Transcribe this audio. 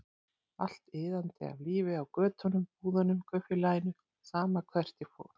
Allt iðandi af lífi, á götunum, búðunum, kaupfélaginu, sama hvert ég fór.